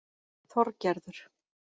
Þorgerður